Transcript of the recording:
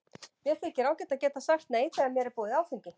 Mér þykir ágætt að geta sagt nei þegar mér er boðið áfengi.